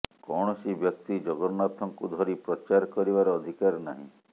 କୌଣସି ବ୍ୟକ୍ତି ଜଗନ୍ନାଥଙ୍କୁ ଧରି ପ୍ରଚାର କରିବାର ଅଧିକାର ନାହିଁ